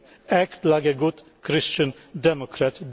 Act like a good Christian Democrat.